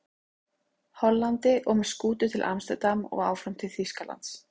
Hollandi og með skútu til Amsterdam og áfram til Þýskalands.